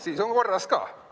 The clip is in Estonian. Siis on korras ka.